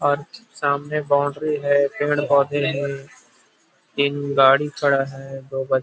और सामने बाउंड्री है पेड़-पोधे है तीन गाड़ी खड़ा है दो ब--.